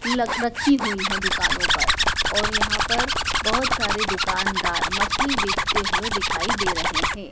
लगभग रखी हुई है दुकानो पर और यहां पर बहोत सारे दुकानदार मछली बेचते हुए दिखाई दे रहे हैं।